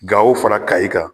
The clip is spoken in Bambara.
Gawo fara Kayi kan